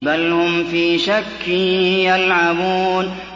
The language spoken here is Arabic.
بَلْ هُمْ فِي شَكٍّ يَلْعَبُونَ